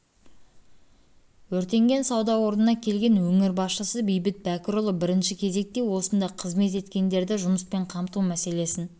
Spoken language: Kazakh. өртенген сауда орнына келген өңір басшысы бейбіт бәкірұлы бірінші кезекте осында қызмет еткендерді жұмыспен қамту мәселесін